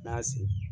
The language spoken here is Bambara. N'a sin